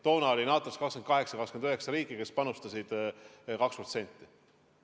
Toona oli NATO-s 28‑29 riiki, aga vaid vähesed panustasid 2%.